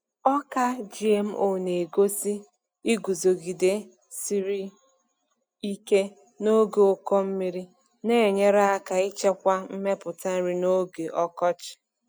Ọka GMO na-egosi iguzogide siri ike n’oge ụkọ mmiri, na-enyere aka ịchekwa mmepụta nri n’oge ọkọchị.